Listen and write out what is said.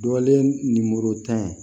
Dɔlen ye nimorotan ye